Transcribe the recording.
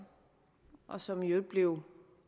og som i øvrigt blev